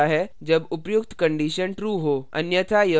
अन्यथा यह छूट जाता है